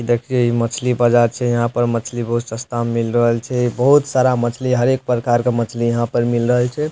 देखिए इ मछली बजार छै यहां पर मछली बहुत सस्ता में मिल रहल छै बहुत सारा मछली हर एक प्रकार के मछली यहाँ पर मिल रहल छै।